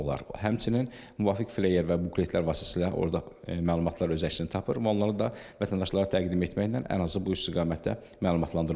Həmçinin müvafiq fleyer və buletlər vasitəsilə orda məlumatlar öz əksini tapır və onlara da vətəndaşlara təqdim etməklə ən azı bu istiqamətdə məlumatlandırmaq olar.